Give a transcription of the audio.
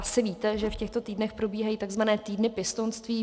Asi víte, že v těchto týdnech probíhají tzv. týdny pěstounství.